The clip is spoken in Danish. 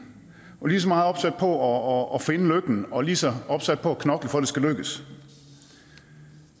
og er lige så meget opsat på at finde lykken og lige så opsat på at knokle for at det skal lykkes og